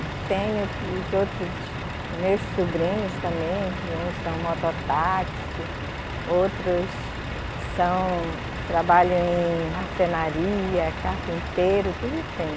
E tenho os outros meus sobrinhos também, que uns são mototáxis, outros são, trabalham em marcenaria, carpinteiro, tudo tem.